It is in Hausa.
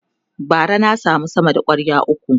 bara na samu sama da kwarya ukwu